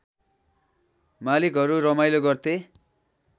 मालिकहरू रमाइलो गर्थे